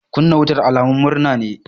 Kunna wuta alamun murna ne.